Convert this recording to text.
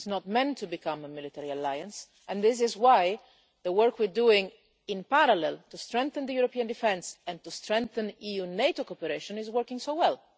It is not meant to become a military alliance, and that is why the work we are doing, in parallel to strengthen European defence and to strengthen EU NATO cooperation, is working so well.